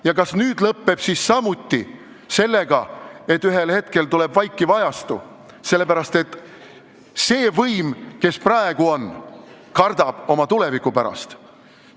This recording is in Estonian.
Ja kas nüüd lõppeb see samuti sellega, et ühel hetkel tuleb vaikiv ajastu, sellepärast et see võim, kes meil praegu on, kardab oma tuleviku pärast?